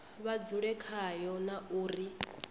vha dzule khayo na uri